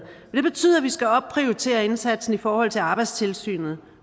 det betyder at vi skal opprioritere indsatsen i forhold til arbejdstilsynet